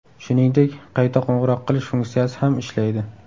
Shuningdek, qayta qo‘ng‘iroq qilish funksiyasi ham ishlaydi.